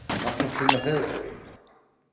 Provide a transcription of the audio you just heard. Magnús Hlynur Hreiðarsson: Hver eru nýjustu dýrin?